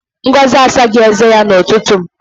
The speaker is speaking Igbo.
Ngozi asaghị eze ya n'ụtụtụ.